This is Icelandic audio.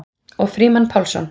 Og Frímann Pálsson.